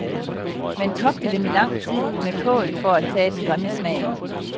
Man kogte dem i lang tid med kål for at tage den grimme smag.